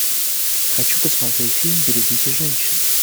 хочу посмотреть фильм берегите женщин